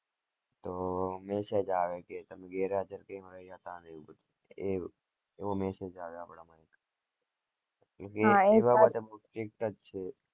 તો message આવે કે તમે ગરેહજાર કેમ રહ્યા હતા ને એવું બધું એવો message આવે